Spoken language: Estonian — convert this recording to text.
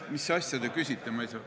Mis asja te küsite, ma ei saa ...